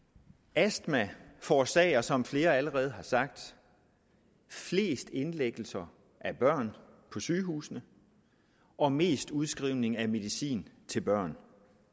astma forårsager som flere allerede har sagt flest indlæggelser af børn på sygehusene og mest udskrivning af medicin til børn